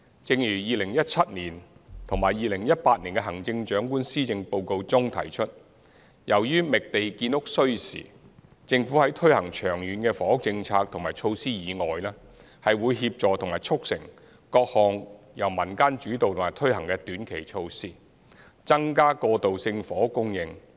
正如2017年及2018年的行政長官施政報告中提出，由於覓地建屋需時，政府在推行長遠房屋政策和措施以外，會協助和促成各項由民間主導和推行的短期措施，增加過渡性房屋供應。